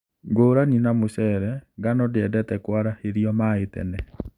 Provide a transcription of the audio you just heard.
Ngũrani na mũcele, ngano ndĩendete kũarahĩrio maĩĩ tene